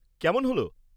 কেমন হল?